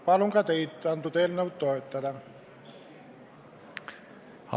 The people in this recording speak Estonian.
Palun teid seda eelnõu toetada!